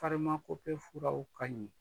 furaw ka ɲi